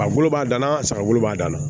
A bolo b'a dan na saga bolo b'a dan na